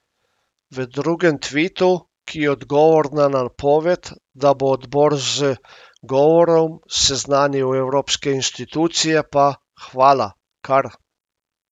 V drugem tvitu, ki je odgovor na napoved, da bo odbor z govorom seznanil evropske institucije pa: 'Hvala, kar.